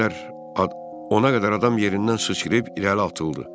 Ona qədər adam yenidən susqurib irəli atıldı.